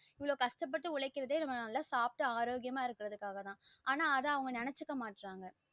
இவ்ளோ கஷ்டபட்டு உழைக்ரதே நம்ம நல்லா சாப்டு ஆரோக்கியமா இருக்ககுறது காக தான் ஆனா அத வந்து நினைச்சுக்க மாற்றாங்க